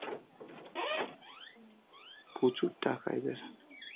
প্রচুর টাকা এদের.